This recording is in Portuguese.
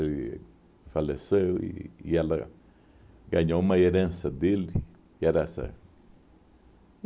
Ele faleceu e e ela ganhou uma herança dele. Que era essa